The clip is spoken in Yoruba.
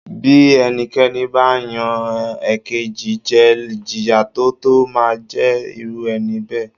Bí ẹnikẹ́ni ba yan ekeji jẹ Ìjìyà tó tó máa ń jẹ irú ẹni bẹ́ẹ̀